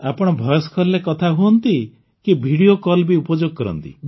ଆପଣ ଭଏସ୍ କଲ୍ରେ କଥା ହୁଅନ୍ତି କି ଭିଡିଓ କଲ୍ ବି ଉପଯୋଗ କରନ୍ତି